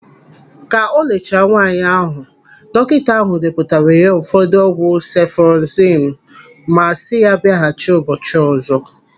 Ka o lelechara nwaanyị ahụ, dọkịta ahụ depụtara ya ụfọdụ ọgwụ sefụrozimu ma si ya biaghachi ụbọchị ọzọ.